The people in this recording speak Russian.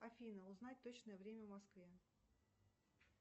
афина узнать точное время в москве